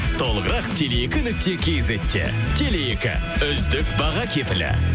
толығырақ теле екі нүкте кизетте теле екі үздік баға кепілі